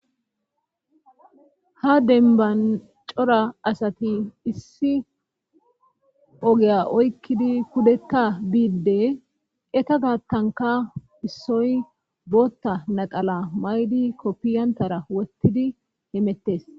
Ha denban cora asati issi ogeya oykkidi kudekka biidde eka gaattanka issoy bootta naqala maydi koppiyantara wottidi himettes.